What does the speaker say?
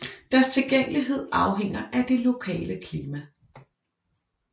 Deres tilgængelighed afhænger af det lokale klima